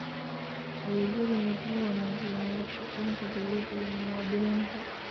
Adeegyadani waxay wanaajiyaan wada shaqaynta dawladda iyo muwaadiniinta.